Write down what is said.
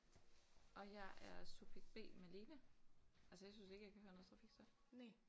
Og jeg er subjekt B Malene. Altså jeg synes ikke jeg kan høre noget trafikstøj